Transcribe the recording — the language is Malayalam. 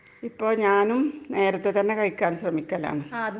അപ്പോ ഞാനും നേരത്തെ തന്നെ കഴിക്കാൻ ശ്രമിക്കൽ ആണ് .